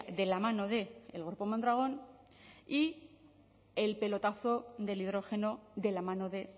de la mano del grupo mondragon y el pelotazo del hidrógeno de la mano de